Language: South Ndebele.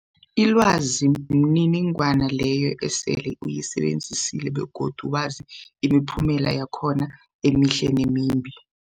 Ilwazi mniningwana leyo osele uyisebenzisile begodu wazi imiphumela yakhona emihle nemimbi.